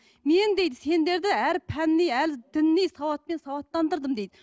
мен дейді сендерді әрі пәни әрі діни сауатпен сауаттандырдым дейді